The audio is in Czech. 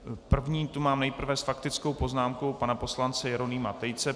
Prvního tu mám nejprve s faktickou poznámkou pana poslance Jeronýma Tejce.